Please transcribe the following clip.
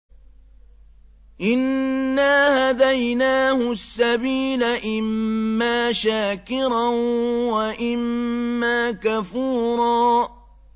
إِنَّا هَدَيْنَاهُ السَّبِيلَ إِمَّا شَاكِرًا وَإِمَّا كَفُورًا